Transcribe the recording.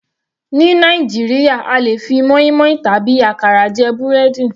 Ní Nàìjíríà a lè fi moinmoin tàbí àkàrà jẹ búrẹ́dì.